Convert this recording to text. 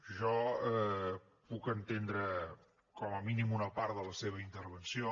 jo puc entendre com a mínim una part de la seva intervenció